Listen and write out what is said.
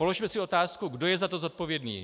Položme si otázku, kdo je za to zodpovědný.